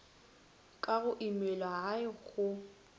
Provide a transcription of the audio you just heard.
ka go imelwa hai go